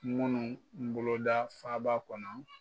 Munnu boloda faaba kɔnɔ